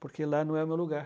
Porque lá não é o meu lugar.